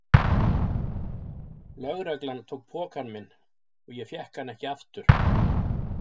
Lögreglan tók pokann minn og ég fékk hann ekki aftur.